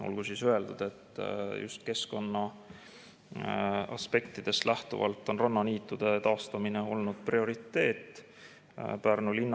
Olgu siis öeldud, et just keskkonna aspektidest lähtuvalt on rannaniitude taastamine Pärnu linnas prioriteet olnud.